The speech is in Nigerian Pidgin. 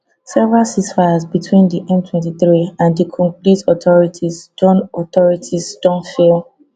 several ceasefires between di m23 and di congolese authorities don authorities don fail